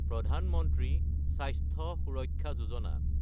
প্ৰধান মন্ত্ৰী স্বাস্থ্য সুৰক্ষা যোজনা